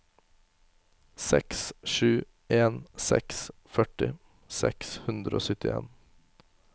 seks sju en seks førti seks hundre og syttien